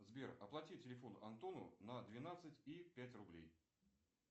сбер оплати телефон антону на двенадцать и пять рублей